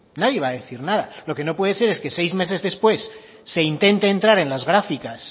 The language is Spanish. nadie va a decir nada lo que no puede decir es que seis meses después se intente entrar en las gráficas